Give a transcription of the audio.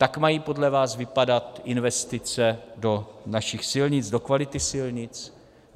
Tak mají podle vás vypadat investice do našich silnic, do kvality silnic?